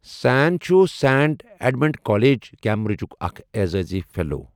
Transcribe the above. سین چھ Saint Edmund college, کیمبرجُُك اكھ عزازی فیلو ۔